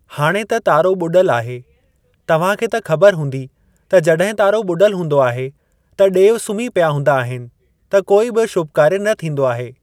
हाणे त तारो ॿुडल आहे। तव्हां खे त ख़बर हूंदी त जॾहिं तारो ॿुॾल हूंदो आहे त ॾेव सुम्ही पिया हूंदा आहिनि त कोई बि शुभ कार्य न थींदो आहे।